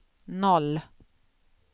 noll